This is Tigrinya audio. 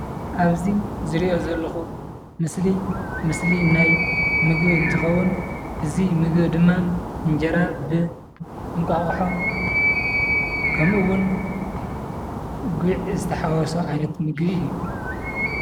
ኣብዚ ዝርእዮ ዘለኹ ምስሊ ምስሊ ናይ ምግቢ እንተኸውን እዚ ምግቢ ድማ እንጀራ ብ እንቋቁሖ ከምኡ እውን ጉዕ ዝተሓወሶ ዓይነት ምግቢ እዩ።